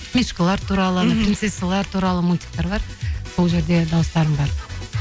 мишкалар туралы мхм принцессалар туралы мультикатер бар сол жерде дауыстарым бар